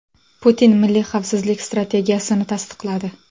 Putin milliy xavfsizlik strategiyasini tasdiqladi.